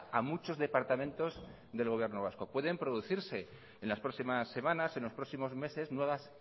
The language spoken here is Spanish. a muchos departamentos del gobierno vasco pueden producirse en las próximas semanas en los próximos meses nuevas